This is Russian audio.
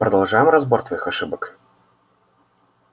продолжаем разбор твоих ошибок